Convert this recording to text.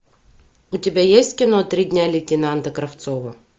у тебя есть кино три дня лейтенанта кравцова